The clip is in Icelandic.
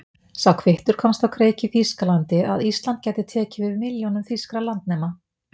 Sá kvittur komst á kreik í Þýskalandi, að Ísland gæti tekið við milljónum þýskra landnema.